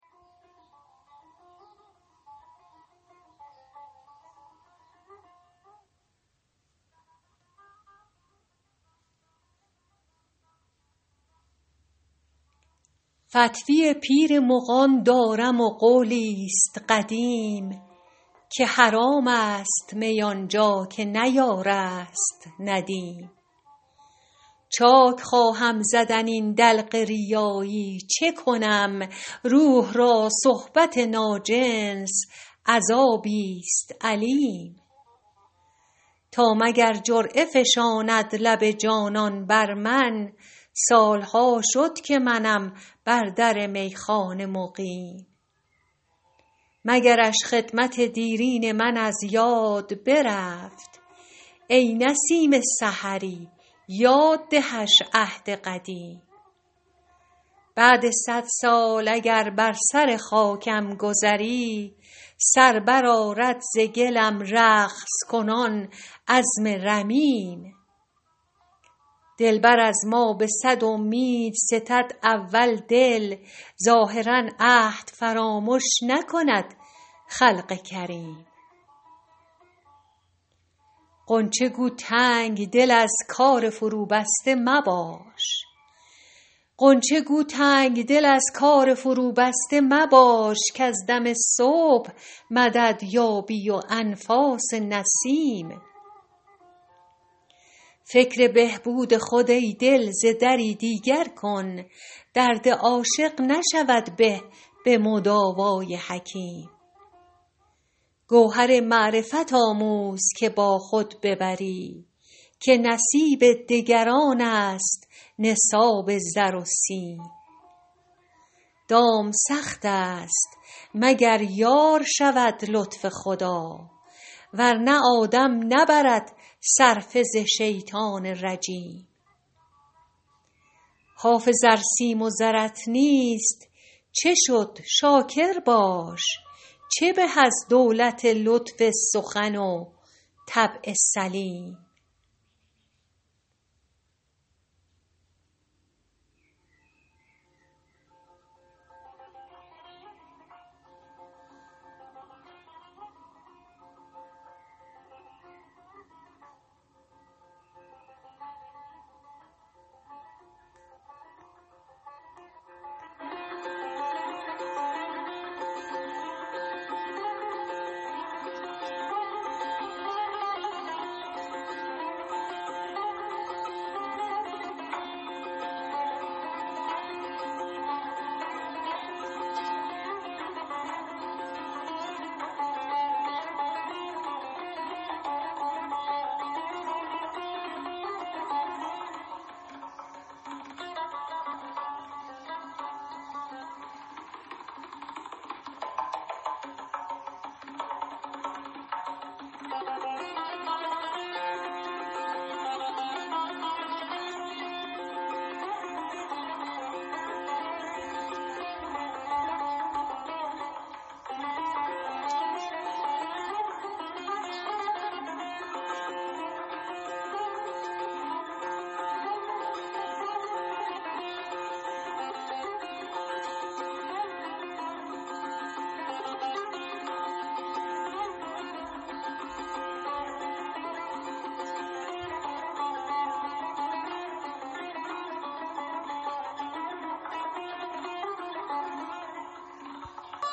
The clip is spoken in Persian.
فتوی پیر مغان دارم و قولی ست قدیم که حرام است می آن جا که نه یار است ندیم چاک خواهم زدن این دلق ریایی چه کنم روح را صحبت ناجنس عذابی ست الیم تا مگر جرعه فشاند لب جانان بر من سال ها شد که منم بر در میخانه مقیم مگرش خدمت دیرین من از یاد برفت ای نسیم سحری یاد دهش عهد قدیم بعد صد سال اگر بر سر خاکم گذری سر برآرد ز گلم رقص کنان عظم رمیم دلبر از ما به صد امید ستد اول دل ظاهرا عهد فرامش نکند خلق کریم غنچه گو تنگ دل از کار فروبسته مباش کز دم صبح مدد یابی و انفاس نسیم فکر بهبود خود ای دل ز دری دیگر کن درد عاشق نشود به به مداوای حکیم گوهر معرفت آموز که با خود ببری که نصیب دگران است نصاب زر و سیم دام سخت است مگر یار شود لطف خدا ور نه آدم نبرد صرفه ز شیطان رجیم حافظ ار سیم و زرت نیست چه شد شاکر باش چه به از دولت لطف سخن و طبع سلیم